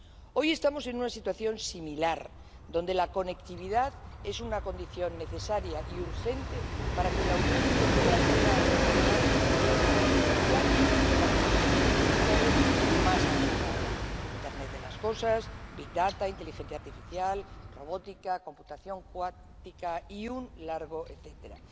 Hoy estamos en una situación similar, donde la conectividad es una condición necesaria y urgente para que la Unión Europea pueda aprovechar el potencial de las tecnologías digitales más avanzadas, como internet de las cosas, big data inteligencia artificial, robótica, computación cuántica y un largo etcétera.